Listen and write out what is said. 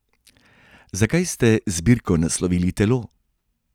Zakaj ste zbirko naslovili Telo?